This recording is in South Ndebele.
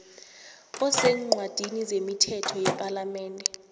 eseencwadini zemithetho yepalamende